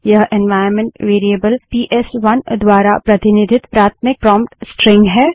यह environment variable PS one द्वारा प्रतिनिधित प्राथमिक प्रोंप्ट स्ट्रिंग है